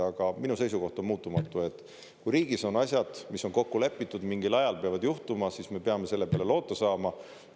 Aga minu seisukoht on muutumatu: kui riigis on asjad, mis on kokku lepitud, mingil ajal peavad juhtuma, siis me peame selle peale loota saama.